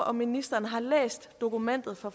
om ministeren har læst dokumentet fra